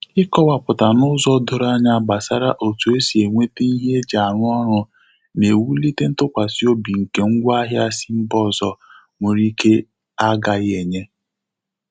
Ikọwapụta n'ụzọ doro anya gbasara otu esi enwete ihe eji arụ ọrụ na-ewụlite ntụkwasị obi nke ngwa ahia si mba ọzọ nwere ike a gaghi enye.